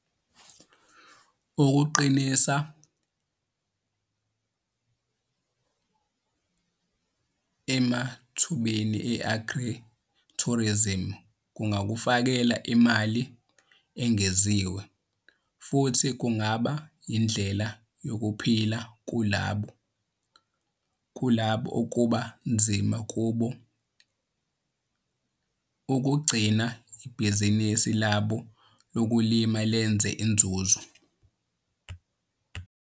Ukuqinisa emathubeni e-agritourism kungakufakela imali engeziwe futhi kungaba yindlela youphila kulabo okuba nzima kubo ukugcina ibhizinisi labo lokulima lenza inzuzo.